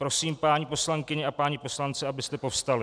Prosím, paní poslankyně a páni poslanci, abyste povstali.